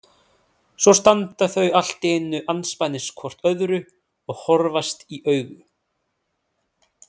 Svo standa þau allt í einu andspænis hvort öðru og horfast í augu.